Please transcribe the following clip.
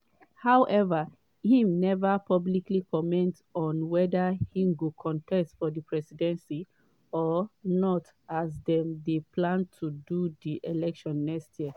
however im neva publicly comment on weda im go contest for di presidency or not as dem dey plan to do di elections next year.